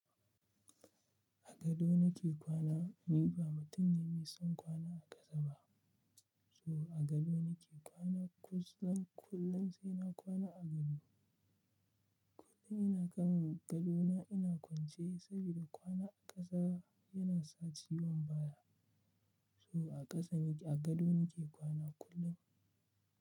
A gado nake kwana. Ni ba mutum ne mai son kwana a ƙasa ba. So a gado nake kwana. Kusan kullum sai na kwana a gado. Kullum ina kan gado na ina kwance saboda kwana a ƙasa yana sa ciwon baya. So a ƙasa a gado nake kwana kullum.